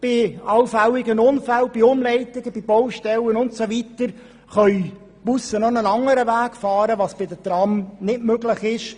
Bei allfälligen Unfällen, Umleitungen bei Baustellen und so weiter können die Busse einen anderen Weg fahren, was bei den Trams nicht möglich ist.